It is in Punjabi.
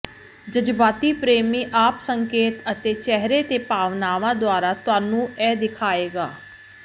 ਜਜ਼ਬਾਤੀ ਪ੍ਰੇਮੀ ਆਪ ਸੰਕੇਤ ਅਤੇ ਚਿਹਰੇ ਦੇ ਭਾਵਨਾਵਾਂ ਦੁਆਰਾ ਤੁਹਾਨੂੰ ਇਹ ਦਿਖਾਏਗਾ